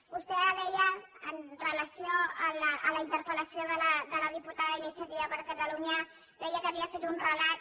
vostè ara deia amb relació a la interpel·lació de la diputada d’iniciativa per catalunya que havia fet un relat